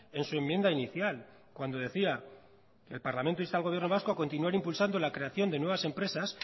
en su enmienda inicial cuando decía el parlamento insta al gobierno vasco a continuar impulsando la creación de nuevas empresas